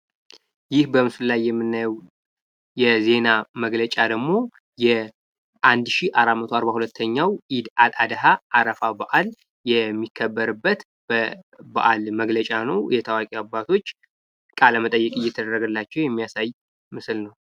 ይህ በምስሉ ላይ የምንመለከተው ደግሞ የዜና መግለጫ ደግሞ የ1442ኛው የኢድ አል አደሃ አረፋ በአል የሚከበርበት በአል መግለጫ ነው። እኒህ ታዋቂ አባቶች ቃለ መጠይቅ እየተደረገላቸው የሚያሳይ ምስል ነው።